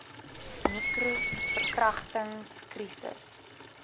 nicro verkragtings krisis